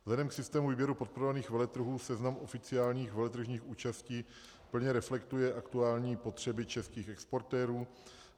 Vzhledem k systému výběru podporovaných veletrhů seznam oficiálních veletržních účastí plně reflektuje aktuální potřeby českých exportérů.